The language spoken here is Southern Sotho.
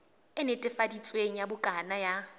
e netefaditsweng ya bukana ya